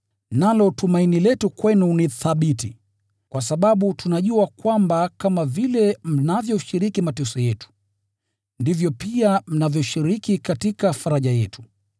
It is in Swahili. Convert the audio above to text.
Nalo tumaini letu kwenu ni thabiti, kwa sababu tunajua kwamba kama vile mnavyoshiriki mateso yetu, ndivyo pia mnavyoshiriki katika faraja yetu.